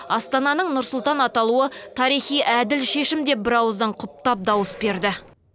астананың нұр сұлтан аталуы тарихи әділ шешім деп бірауыздан құптап дауыс берді